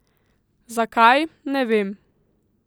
Zakaj, ne vem.